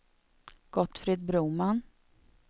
Gottfrid Broman